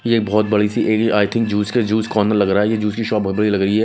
ये बहोत बड़ी सी आय थिंक ज्यूस के जूस कॉर्नर लग रहा है। ये जूस की शॉप बहोत बड़ी लग रही है।